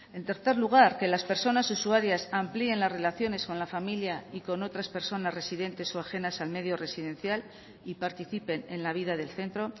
en tercer lugar que las personas usuarias amplíen las relaciones con la familia y con otras personas residentes o ajenas al medio residencial y participen en la vida del centro